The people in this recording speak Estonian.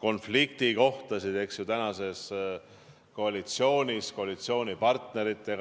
konfliktikohti tänases koalitsioonis, koalitsioonipartnerite vahel.